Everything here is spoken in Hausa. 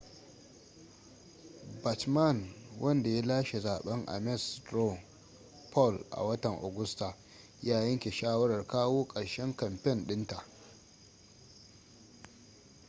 bachmann wanda ya lashe zaben ames straw poll a watan agusta ya yanke shawarar kawo karshen kamfen din ta